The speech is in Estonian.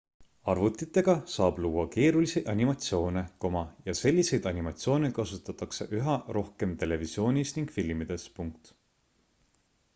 arvutitega saab luua keerulisi animatsioone ja selliseid animatsioone kasutatakse üha rohkem televisioonis ning filmides